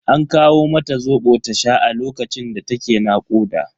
An kawo mata Zobo ta sha a lokacin da ta ke nakuda.